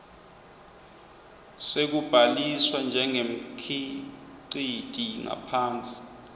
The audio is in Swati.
sekubhaliswa njengemkhiciti ngaphansi